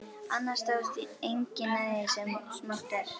Annars dáist enginn að því sem smátt er.